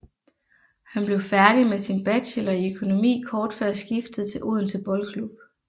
Han blev færdig med sin bachelor i økonomi kort før skiftet til Odense Boldklub